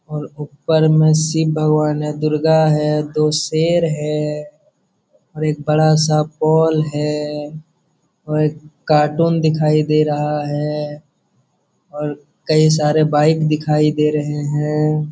और ऊपर में शिव भगवान है दुर्गा है तो शेर है और एक बड़ा सा पोल है और एक कार्टून दिखाई दे रहा है और कई सारे बाइक दिखाई दे रहे हैं।